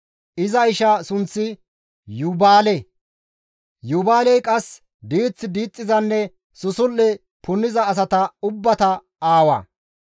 Iza ishaa sunththi Yuubaale; Yuubaaley qasse diith diixxizanne susul7e punniza asata ubbata aawa;